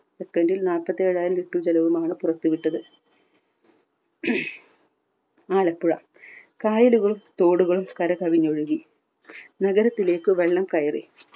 second ൽ നാല്പത്തേഴായിരം litre ജലവുമാണ് പുറത്തു വിട്ടത്. ആലപ്പുഴ കായലുകളും തോടുകളും കര കവിഞ്ഞൊഴുകി. നഗരത്തിലേക്ക് വെള്ളം കയറി.